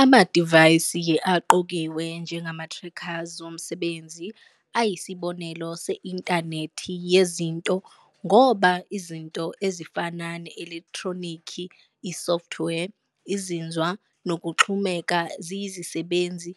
Amadivayisi aqokiwe njengama-trackers womsebenzi ayisibonelo se-Inthanethi Yezinto, ngoba "izinto" ezifana ne-elekthronikhi, i-software, izinzwa, nokuxhumeka ziyizisebenzi